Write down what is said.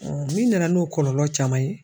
min nana n'o kɔlɔlɔ caman ye.